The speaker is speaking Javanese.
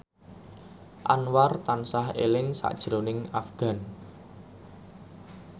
Anwar tansah eling sakjroning Afgan